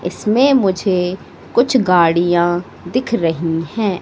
इसमें मुझे कुछ गाड़ियां दिख रही है।